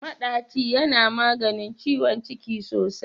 Maɗaci yana maganin ciwon ciki sosai.